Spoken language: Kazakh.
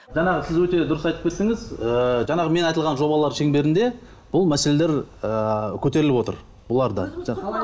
жаңағы сіз өте дұрыс айтып кеттіңіз ыыы жаңағы мен айтылған жобалар шеңберінде бұл мәселелер ыыы көтеріліп отыр бұлар да